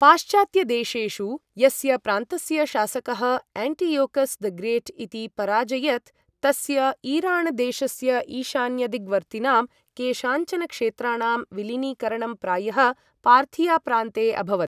पाश्चात्त्यदेशेषु यस्य प्रान्तस्य शासकः एण्टियोकस् द ग्रेट् इति पराजयत् तस्य ईराण् देशस्य ईशान्यदिग्वर्तिनां केषाञ्चन क्षेत्राणां विलीनीकरणं प्रायः पार्थिया प्रान्ते अभवत्।